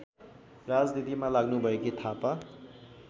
राजनीतिमा लाग्नुभएकी थापा